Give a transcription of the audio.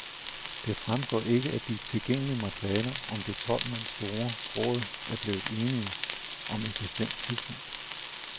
Det fremgår ikke af de tilgængelige materialer, om det tolv mand store råd er blevet enigt om et bestemt tidspunkt.